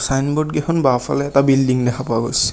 Signboard কেইখন বাওঁফালে এটা বিল্ডিঙ দেখা পোৱা গৈছে।